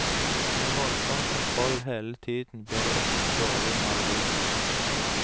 Med voldsom kontroll hele tiden blir det ofte dårlig maleri.